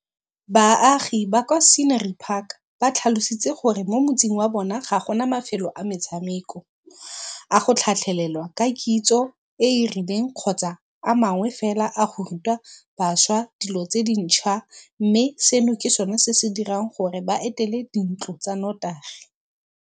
Baagi ba kwa Scenery Park ba tlhalositse gore mo motseng wa bona ga gona mafelo a metshameko, a go tlhatlhelelwa ka kitso e e rileng kgotsa a mangwe fela a go ruta bašwa dilo tse dintšhwa, mme seno ke sona se se dirang gore ba etele dintlo tsa notagi.